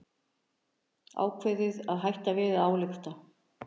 Ákveðið að hætta við að álykta